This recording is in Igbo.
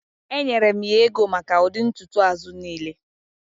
Enyere m ya ego maka ụdị ntutu azụ niile